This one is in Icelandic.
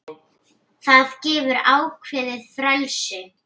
Það gefur ákveðið frelsi.